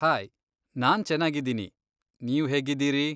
Hi, ನಾನ್ ಚೆನಾಗಿದೀನಿ. ನೀವ್ ಹೇಗಿದೀರಿ?